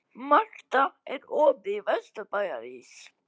Marta, er opið í Vesturbæjarís?